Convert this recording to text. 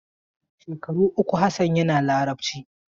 Shekaru uku Hassan yana Larabci.